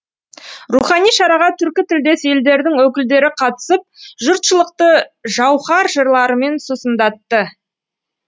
рухани шараға түркі тілдес елдердің өкілдері қатысып жұртшылықты жауһар жырларымен сусындатты